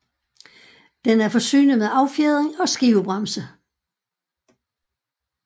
Det er forsynet med affjedring og skivebremse